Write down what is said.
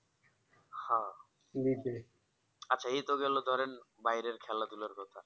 হ্যাঁ আচ্ছা এ তো গেল ধরেন বাইরের খালা ধুলার কথা